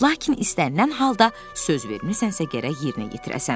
Lakin istənilən halda söz vermisənsə gərək yerinə yetirəsən.